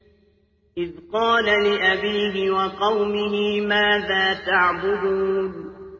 إِذْ قَالَ لِأَبِيهِ وَقَوْمِهِ مَاذَا تَعْبُدُونَ